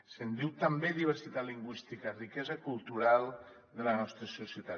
se’n diu també diversitat lingüística riquesa cultural de la nostra societat